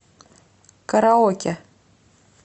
караоке